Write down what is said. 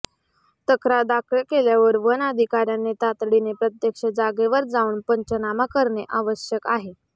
तक्रार दाखल केल्यावर वन अधिकाऱ्यांनी तातडीने प्रत्यक्ष जागेवर जाऊन पंचनामा करणे आवश्यक आहे